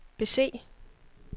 bese